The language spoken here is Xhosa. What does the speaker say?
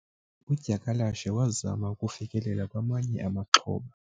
udyakalashe wazama ukufikelela kwamanye amaxhoba